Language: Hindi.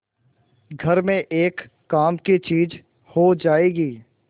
घर में एक काम की चीज हो जाएगी